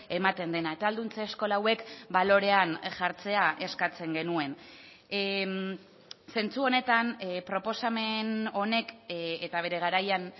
ematen dena eta ahalduntze eskola hauek balorean jartzea eskatzen genuen zentzu honetan proposamen honek eta bere garaian